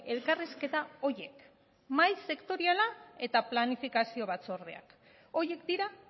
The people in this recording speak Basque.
elkarrizketa horiek mahai sektoriala eta planifikazio batzordeak horiek dira